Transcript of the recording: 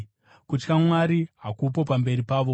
“Kutya Mwari hakupo pamberi pavo.”